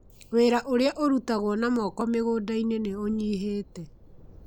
Wĩra ũrĩa ũrutagwo na moko mĩgũnda-inĩ nĩ ũnyihĩte.